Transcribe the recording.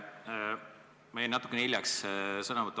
Ma jäin enne natukene hiljaks.